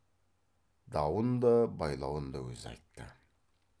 дауын да байлауын да өзі айтты